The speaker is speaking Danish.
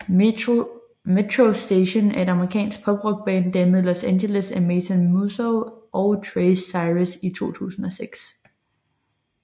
Metro Station er et amerikansk pop rock band dannet i Los Angeles af Mason Musso og Trace Cyrus i 2006